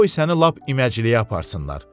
Qoy səni lap iməcəliyə aparsınlar.